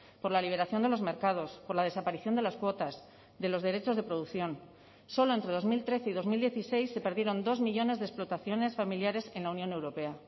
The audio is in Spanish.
por la liberación de los mercados por la desaparición de las cuotas de los derechos de producción solo entre dos mil trece y dos mil dieciséis se perdieron dos millónes de explotaciones familiares en la unión europea